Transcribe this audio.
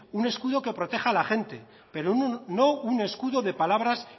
un escudo que proteja a la gente pero no un escudo de palabras